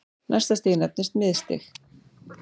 Næsta stig nefnist miðstig.